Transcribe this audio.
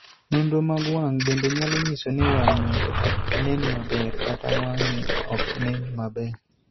Nonro mag wang' bende nyalo nyiso ni wang' ng'ato ok nen maber kata wang'e ok nen maber.